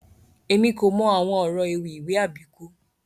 Èmi kò mọ àwọn ọrọ ewì ìwé Àbíkú